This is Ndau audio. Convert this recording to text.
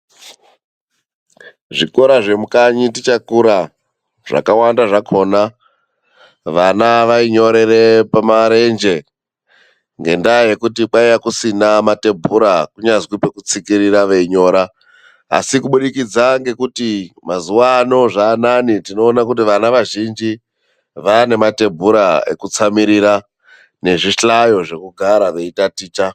Zvikora zvemukanyi tichakura zvakawanda zvakona vana vainyorere pamarenje, ngendaa yekuti kwaiya kusina matebhura kunyazwi pokupekutsikirira veinyora, asi kubudikidza ngekuti mazuva ano zvaanane, tinoone kuti vana vazhinji vaanematebhura ekutsamirira nezvihlayo zvekugara veitaticha.